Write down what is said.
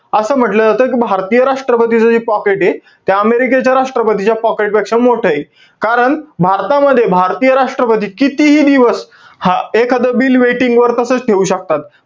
असं म्हंटल जातं कि, भारतीय राष्ट्र्पतीच जे pocket ए. ते अमेरिकेच्या राष्ट्रपतीच्या pocket पेक्षा मोठंय. कारण, भारतामध्ये, भारतीय राष्ट्रपती, कितीही दिवस, हा~ एखाद bill waiting वर तसच ठेऊ शकतात.